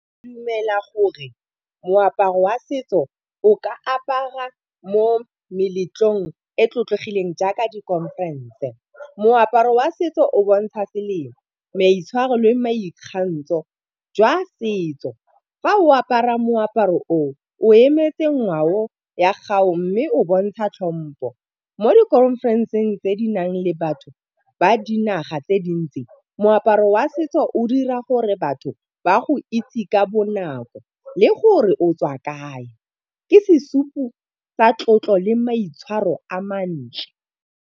dumela gore moaparo wa setso o ka aparwa mo meletlong e tlotlegileng jaaka dikhonferense. Moaparo wa setso o bontsha semelo, maitshwaro le maikgantsho jwa setso fa o apara moaparo oo, o emetse ngwao ya gago mme o bontsha tlhompo. Mo dikhonfereseng tse di nang le batho ba dinaga tse di ntsi, moaparo wa setso o dira gore batho ba go itse ka bonako le gore o tswa kae, ke sesupo sa tlotlo le maitshwaro a mantle.